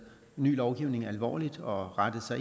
ny lovgivning alvorligt og rettet